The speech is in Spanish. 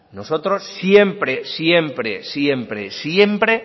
nosotros siempre siempre siempre